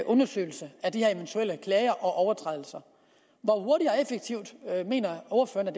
undersøgelse af de her eventuelle klager og overtrædelser hvor hurtigt og effektivt mener